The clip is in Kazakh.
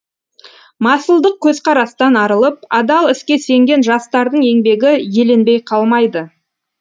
масылдық көзқарастан арылып адал іске сенген жастардың еңбегі еленбей қалмайды